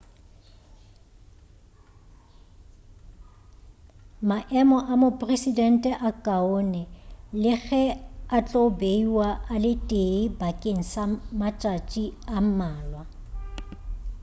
maemo a mopresidente a kaone le ge a tlo beiwa a le tee bakeng sa matšatši a mmalwa